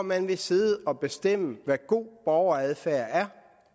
man vil sidde og bestemme hvad der er god borgeradfærd